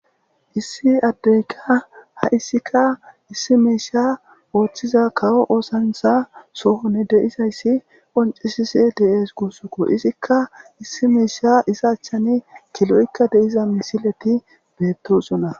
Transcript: Issi addeekka haysika issi miishshaa ooththiza kawo oosanchchaa sohoni de7izayssi qonccisise de7ees guusakoo; izikka issi miishshaa xaaththani kiloykka de7izanne misilethi beeththoosona.